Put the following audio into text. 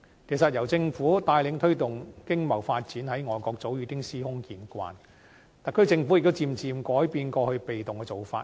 其實，由政府帶領推動經貿發展，在外國早已司空見慣，特區政府亦漸漸改變過去被動的做法。